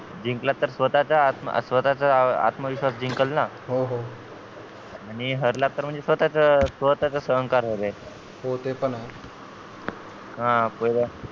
जिंकला तर स्वतः चं स्वतः चा आत्मविश्वास जिंकलं ना हो हो आणि हरला तर स्वतः च स्वतः चं सहन कराच हो ते पण आहे